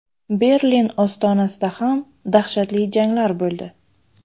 Berlin ostonasida ham dahshatli janglar bo‘ldi.